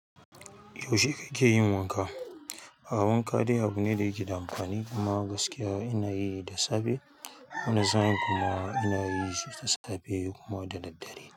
Yaushe kake yin wanka? Ah wanka dai abu ne da yake da amfani, a ma gaskiya ina yi da safe wani sain kuma ina yishi da safe kuma da daddare.